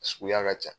A suguya ka ca